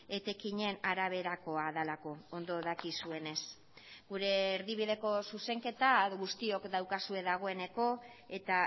etekinen araberakoa delako ondo dakizuenez gure erdibideko zuzenketa guztiok daukazue dagoeneko eta